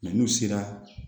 n'u sera